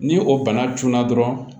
Ni o bana tunna dɔrɔn